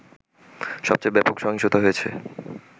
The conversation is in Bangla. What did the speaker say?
সবচেয়ে ব্যাপক সহিংসতা হয়েছে